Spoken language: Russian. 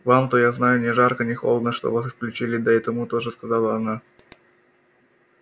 вам-то я знаю ни жарко ни холодно что вас исключили да и тому тоже сказала она